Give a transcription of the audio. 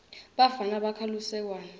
bafana bakha lusekwane